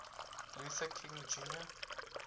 luther king jr